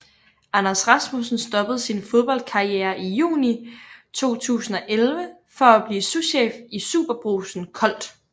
Anders Rasmussen stoppede sin fodboldkarriere i juni 2011 for at blive souschef i SuperBrugsen Kolt